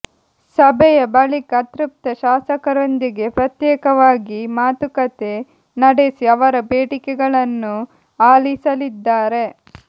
ಸಭೆಯ ಬಳಿಕ ಅತೃಪ್ತ ಶಾಸಕರೊಂದಿಗೆ ಪ್ರತ್ಯೇಕವಾಗಿ ಮಾತುಕತೆ ನಡೆಸಿ ಅವರ ಬೇಡಿಕೆಗಳನ್ನು ಆಲಿಸಲಿದ್ದಾರೆ